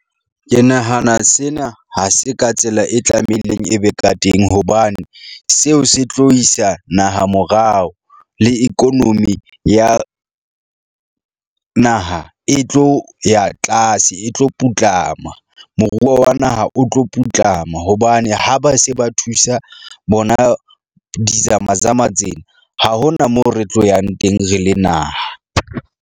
Ke nahana sena ha se ka tsela e tlameileng e be ka teng hobane seo se tlo isa naha morao. Le economy ya naha e tlo ya tlase e tlo putlama. Moruo wa naha o tlo putlama hobane ha ba se ba thusa bona di-zama-zama tsena, ha hona moo re tlo yang teng, re le naha.